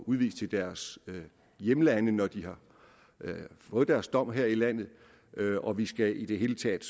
udvist til deres hjemlande når de har fået deres dom her i landet og vi skal i det hele taget